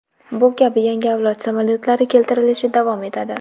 Bu kabi yangi avlod samolyotlari keltirilishi davom etadi.